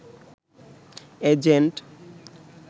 agent